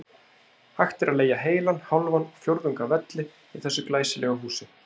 Hægt er að leigja heilan, hálfan og fjórðung af velli í þessu glæsilega húsi.